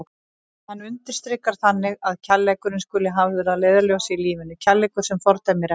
Hann undirstrikar þannig að kærleikurinn skuli hafður að leiðarljósi í lífinu, kærleikur sem fordæmir ekki.